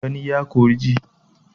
Gani ya fi ji